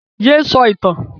Yé sọ ìtàn!